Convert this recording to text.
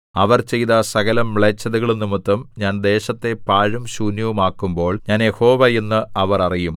അവർ ചെയ്ത സകലമ്ലേച്ഛതകളും നിമിത്തം ഞാൻ ദേശത്തെ പാഴും ശൂന്യവുമാക്കുമ്പോൾ ഞാൻ യഹോവ എന്ന് അവർ അറിയും